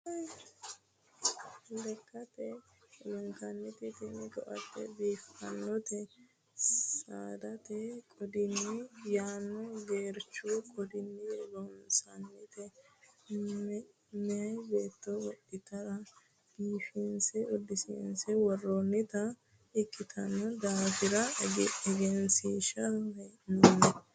Lekkate lunkanniti tini koate biifanote saadate qodiyi yaano gereechu qodini loonsonnite meeya beetto wodhittara biifinse suudinse woronnitta ikkitino daafira egensiisaniwe hee'nonni.